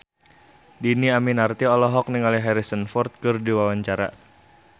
Dhini Aminarti olohok ningali Harrison Ford keur diwawancara